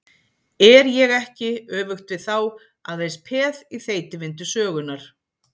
Er ég ekki, öfugt við þá, aðeins peð í þeytivindu sögunnar?